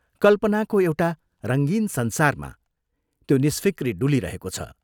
कल्पनाको एउटा रंगीन संसारमा त्यो निष्फिक्री डुलिरहेको छ।